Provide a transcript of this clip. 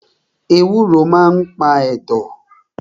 Ewúro maa n pa ẹ̀dọ̀